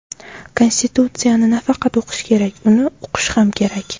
Konstitutsiyani nafaqat o‘qish kerak, uni uqish ham kerak.